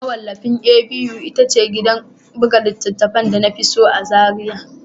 Mawallafin A.B.U ita ce gidan buga littattafai da na fi so a Zariya